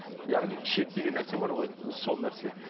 яғни шек деген нәрсе бар ғой сол нәрсе